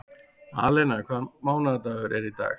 Alena, hvaða mánaðardagur er í dag?